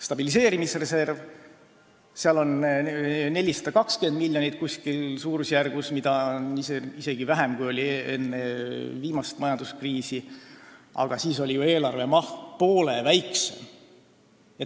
Stabiliseerimisreservis on suurusjärgus 420 miljonit, mida on isegi vähem, kui oli enne viimast majanduskriisi, aga siis oli eelarve maht ju poole väiksem.